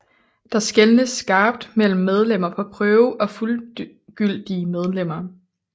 Der skelnedes skarpt mellem medlemmer på prøve og fuldgyldige medlemmer